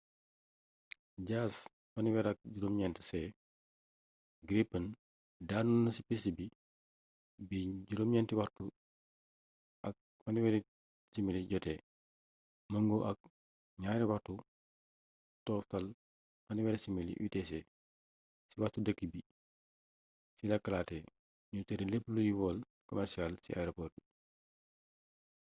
jas 39c gripen daanu na ci piste bi 9h30 jotee méngoo ak 0230 utc ci waxtu dëkk bi ci la klaatee ñu tere lépp luy vol commercial ci aeroport bi